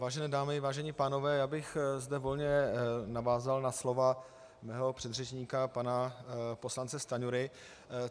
Vážené dámy, vážení pánové, já bych zde volně navázal na slova svého předřečníka pana poslance Stanjury.